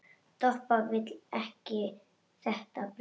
Doppa vill ekki þetta brauð.